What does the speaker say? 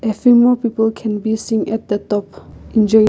a few more people can be seen at the top enjoying.